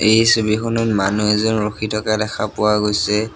এই ছবিখনত মানুহ এজন ৰখি থকা দেখা পোৱা গৈছে।